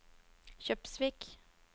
Kjøpsvik